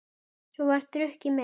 Svo var drukkið meira.